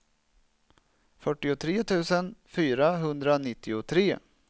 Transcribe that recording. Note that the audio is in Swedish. fyrtiotre tusen fyrahundranittiotre